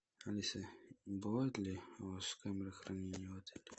алиса бывают ли у вас камеры хранения в отеле